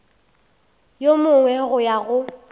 yo mongwe go ya go